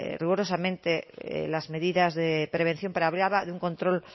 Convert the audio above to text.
rigurosamente las medidas de prevención pero hablaba de un control